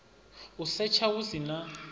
u setsha hu si na